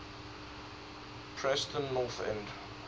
preston north end